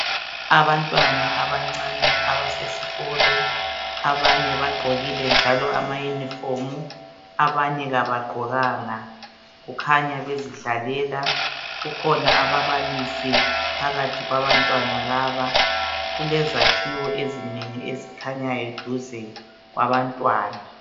Abantwana abancani abasesikolo abanye bagqokile njalo amayunifomu abanye kabagqokanga kukhanya bezidlalela kukhona ababalisi phakathi kwabantwana laba kulezakhiwo ezinengi ezikhanyayo duze kwabantwana.